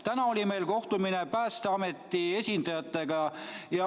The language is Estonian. Täna oli meil kohtumine Päästeameti esindajatega.